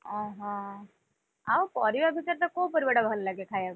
ଓହୋ, ଆଉ ପରିବା ଭିତରେ ତତେ କୋଉ ପରିବାଟା ଭଲ ଲାଗେ ଖାୟାକୁ?